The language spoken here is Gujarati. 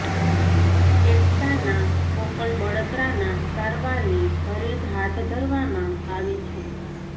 ફેફસાંના ફોકલ બળતરાના સારવારને ઘરે જ હાથ ધરવામાં આવે છે